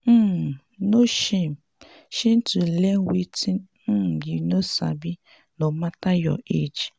um no shame shame to learn wetin um you no sabi no mata your age.